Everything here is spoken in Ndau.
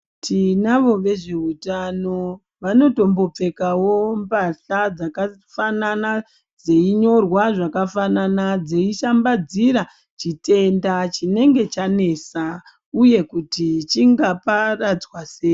Tinavo vezveutano vanombotopfekawo pahla dzakafanana dzeinyorwa zvakafanana dzishambadzira chitenda chinge chanesa uye kuti chingaparadzwa sei.